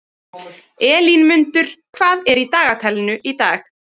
Elínmundur, hvað er í dagatalinu í dag?